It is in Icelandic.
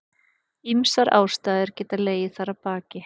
Ýmsar ástæður geta legið þar að baki.